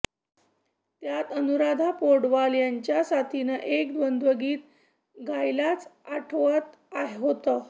त्यात अनुराधा पौडवाल यांच्या साथीनं एक द्वंद्वगीत गायल्याच आठवत होतं